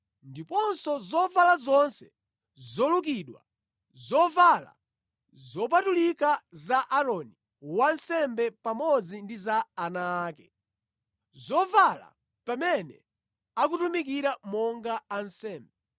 ndiponso zovala zonse zolukidwa, zovala zopatulika za Aaroni wansembe pamodzi ndi za ana ake, zovala pamene akutumikira monga ansembe,